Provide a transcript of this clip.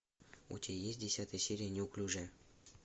у тебя есть десятая серия неуклюжая